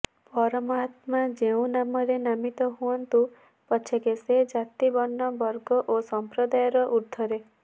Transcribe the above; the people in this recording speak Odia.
ପରମାତ୍ମା ଯେଉଁ ନାମରେ ନାମିତ ହୁଅନ୍ତୁ ପଛକେ ସେ ଜାତି ବର୍ଣ୍ଣ ବର୍ଗ ଓ ସଂପ୍ରଦାୟର ଊର୍ଦ୍ଧ୍ବରେ